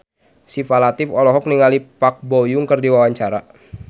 Syifa Latief olohok ningali Park Bo Yung keur diwawancara